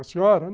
A senhora?